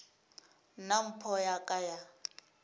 nna mpho ya ka ya